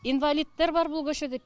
инвалидтер бар бұл көшеде